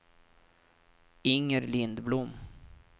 Inger Lindblom